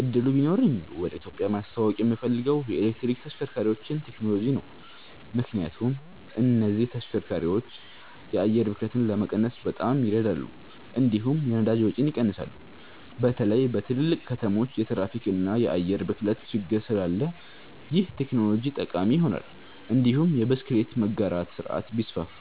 እድሉ ቢኖረኝ ወደ ኢትዮጵያ ማስተዋወቅ የምፈልገው የኤሌክትሪክ ተሽከርካሪዎችን ቴክኖሎጂ ነው። ምክንያቱም እነዚህ ተሽከርካሪዎች የአየር ብክለትን ለመቀነስ በጣም ይረዳሉ፣ እንዲሁም የነዳጅ ወጪን ይቀንሳሉ። በተለይ በትልልቅ ከተሞች የትራፊክ እና የአየር ብክለት ችግር ስላለ ይህ ቴክኖሎጂ ጠቃሚ ይሆናል። እንዲሁም የብስክሌት መጋራት ስርዓት ቢስፋፋ